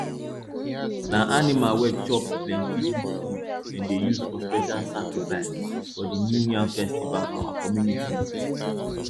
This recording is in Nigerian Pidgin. na animal wey chop plenty good food dem dey use for special sacrifice for the new yam festival for our community